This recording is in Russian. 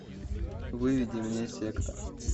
выведи мне секта